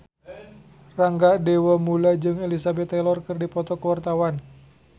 Rangga Dewamoela jeung Elizabeth Taylor keur dipoto ku wartawan